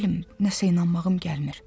Nə bilim, nəsə inanmağım gəlmir.